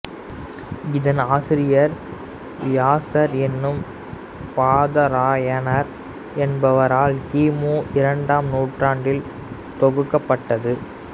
இதன் ஆசிரியர் வியாசர் எனும் பாதராயணர் என்பவரால் கி மு இரண்டாம் நூற்றாண்டில் தொகுக்கப்பட்டது